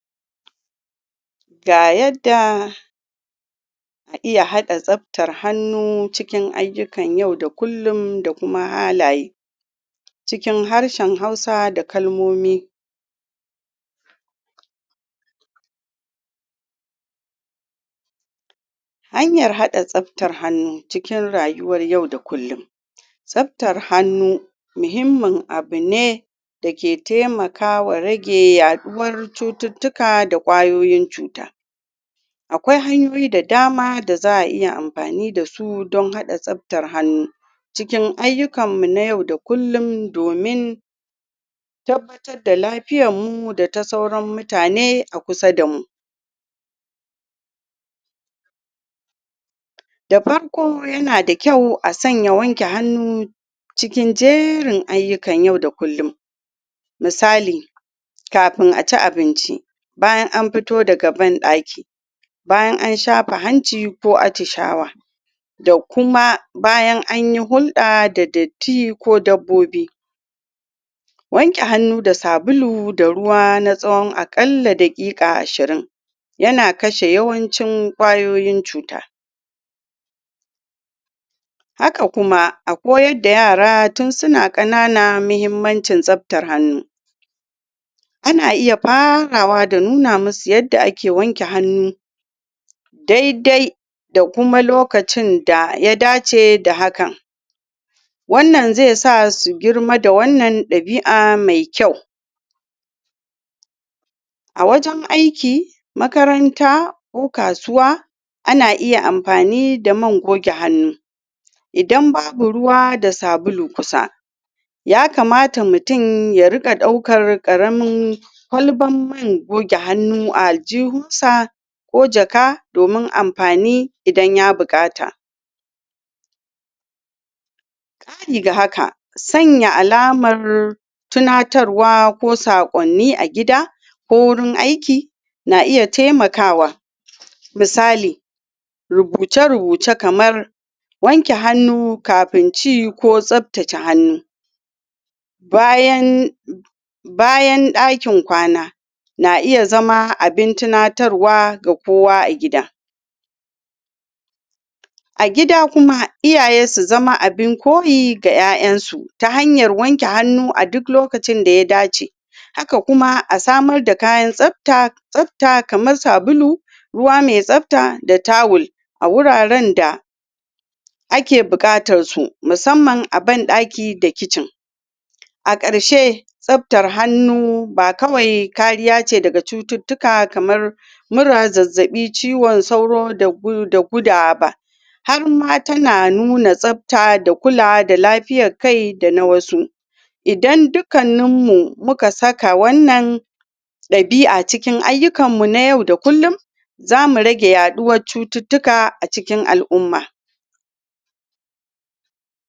Ga yadda za iya hada tsabtar hannu cikin ayukan yau da kullum da kuma halaye cikin harshen Hausa da kalmomi Hanyar hada tsabtar hannu Hanyar hada tsabtar hannu cikin rayuwar yau da kullum. Tsabtar hannu, muhimman abun ne dake taimaka wa rage yaduwar cututtuka da kwayoyin cuta. Akwai hanyoyi da dama da za a iya amfani da su don hadda tsabtar hannu cikin ayukan mu na yau da kullum domin tabbatar da lafiyar mu da ta sauran mutane a kusa da mu. Da farko, yana da kyau a sanya wanke hannu cikin jerin ayukan yau da kullum. Misali, kafin a ci abinci, bayan an fito daga ban daki, bayan an shafa hanci ko attishawa. Da kuma bayan anyi hulda da datti ko dabbobi. Wanke hannu da sabulu da ruwa na tsawon akalla da kika ashirin yana kashe yawancin kwayoyin cuta. Haka kuma, a koyar da yara tun suna kanana muhimmancin tsabtar hannu. Muna iya farawa da nuna musu yadda ake wanke hannu daidai da kuma lokacin da ya dace da hakan. Wannan zai sa su girma da wannan dabi'a mai kyau. A wajen aiki, makaranta ko kasuwa, ana iya amfani da man goge hannu idan babu ruwa da sabulu kusa. Ya kamata mutum ya rika daukar karamin kwalban man goge hannu a aljuhun sa ko jaka domin amfani idan ya bukata. Kari da haka, sanya alamar tunatarwa ko sakonni a gida ko wurin aiki na iya taimakawa. Misali, rubuce-rubuce kamar wanke hannu kafin ci ko tsabtace hannu bayan bayan dakin kwana na iya zama abin tunatarwa ga kowa a gida. A gida kuma, iyaye su zama abun koyi ga 'ya'yen su ta hanyar wanke hannu a duk lokacin da ya dace. Haka kuma, a samar da kayan tsabta, tsabta kamar sabulu ruwa mai tsabta da tawul a wuraren da ake bukatar su, musamman a ban daki da kicin. A karshe, tsabtar hannu ba kawai kariya ce daga cututtuka kamar kamar mura, zazzabi, ciwon tsauro da gu- da gudawa ba. Har ma tana nuna tsabta da kulawa da lafiyar kai da na wasu. Idan dukannun mu muka saka wannan dabi'a cikin ayukan mu na yau da kullum, zamu rage yaduwar cututtuka a cikin al'uma.